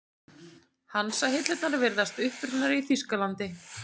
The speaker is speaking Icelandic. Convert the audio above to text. Hansahillurnar virðast upprunnar í Þýskalandi.